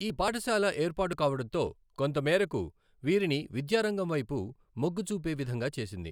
ఈ పాఠ శాల ఏర్పాటు కావడంతో కొంత మేరకు వీరిని విద్యారంగం వెైపు మొగ్గు చూపే విధంగా చేసింది.